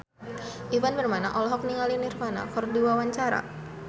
Ivan Permana olohok ningali Nirvana keur diwawancara